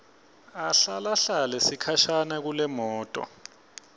ahlalahlale sikhashana kulemoto